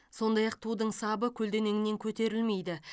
сондай ақ тудың сабы көлденеңінен көтерілмейді